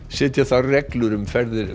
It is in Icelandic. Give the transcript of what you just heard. setja þarf reglur um ferðir